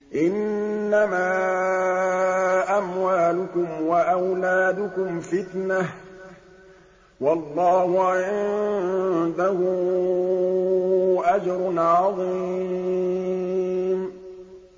إِنَّمَا أَمْوَالُكُمْ وَأَوْلَادُكُمْ فِتْنَةٌ ۚ وَاللَّهُ عِندَهُ أَجْرٌ عَظِيمٌ